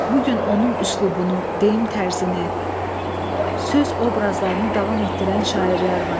Bu gün onun üslubunu, deyim tərzini, söz obrazlarını davam etdirən şairlər var.